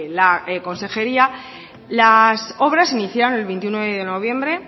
la consejería las obras se iniciaron el veintiuno de noviembre